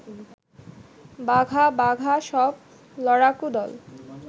বাঘা বাঘা সব লড়াকু দল